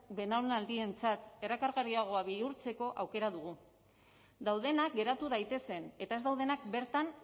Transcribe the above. belaunaldientzat erakargarriago bihurtzeko aukera dugu daudenak geratu daitezen eta ez daudenak bertan